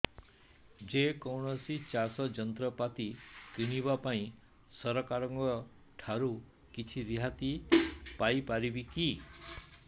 ଯେ କୌଣସି ଚାଷ ଯନ୍ତ୍ରପାତି କିଣିବା ପାଇଁ ସରକାରଙ୍କ ଠାରୁ କିଛି ରିହାତି ପାଇ ପାରିବା କି